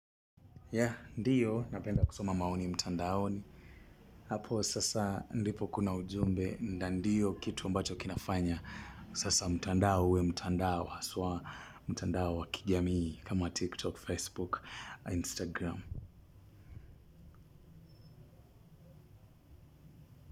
Ya, ndiyo, napenda kusoma maoni mtandaoni. Hapo, sasa, ndipo kuna ujumbe, na ndiyo kitu ambacho kinafanya. Sasa, mtandao uwe, mtandao, haswa, mtandao wakijamii, kama wa TikTok, Facebook, Instagram.